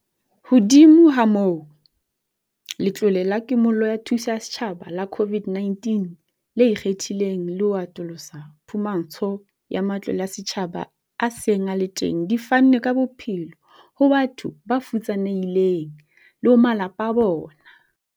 Hodimo ha moo, le Letlole la Kimollo la Thuso ya Setjhaba la COVID-19 le ikgethileng le ho atolosa phumantsho ya matlole a setjhaba a seng a le teng di fanne ka bophelo ho batho ba futsanehileng le ho malapa a bona.